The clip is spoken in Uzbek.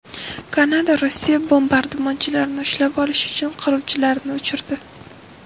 Kanada Rossiya bombardimonchilarini ushlab olish uchun qiruvchilarini uchirdi.